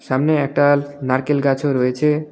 সামনে একটাল নারকেল গাছও রয়েছে.